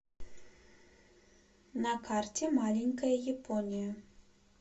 на карте маленькая япония